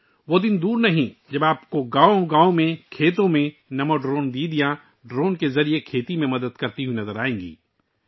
وہ دن دور نہیں جب آپ ہر گاؤں کے کھیتوں میں ڈرون کا استعمال کرتے ہوئے نمو ڈرون دیدی کو کھیتی میں مدد کرتے ہوئے دیکھیں گے